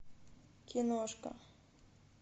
киношка